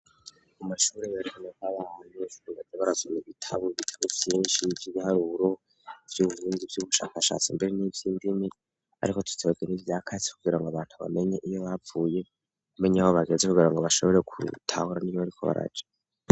Amashuri barekane babahanye rubade barasome bitabubikame byinshi 'iby igiharuburu vy'ububindi vy'ubushakashatsi mbere n'ivy'indimi ariko tutsebagini byakasi kugira ngo abantu bamenye iyo bapfuye kumenye ho bageze kugira ngo bashobore kur itahora n'ibo ariko baraja.